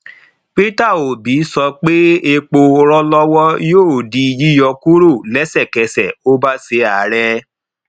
peter obi sọ pé epo rọlọwọ yóò di yíyọ kúrò lẹsẹkẹsẹ ó bá ṣe ààrẹ